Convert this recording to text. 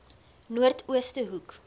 noord ooste hoek